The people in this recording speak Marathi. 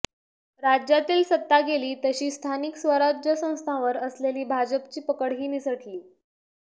राज्यातील सत्ता गेली तशी स्थानिक स्वराज्य संस्थांवर असलेली भाजपची पकडही निसटली